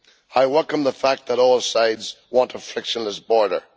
I welcome the fact that all sides want a frictionless border.